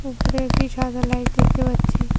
উপরে একটি সাদা লাইট দেখতে পাচ্ছি।